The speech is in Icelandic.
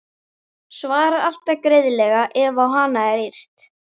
Svarar alltaf greiðlega ef á hana er yrt.